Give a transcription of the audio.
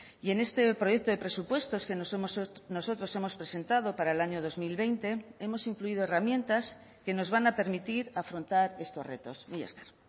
y en este proyecto de presupuestos que nosotros hemos presentado para el año dos mil veinte hemos incluido herramientas que nos van a permitir afrontar estos retos mila esker